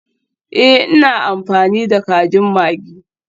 Ee, ina amfani da kajin maggi.